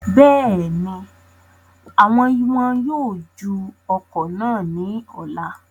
Bẹ́ẹ̀ni, awọn wọn yóò ju ọ̀kọ̀ náà ní ọ̀la